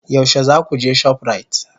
Yaushe za ku je shoprite?